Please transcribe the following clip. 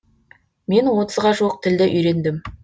мен отызға жуық тілді үйрендім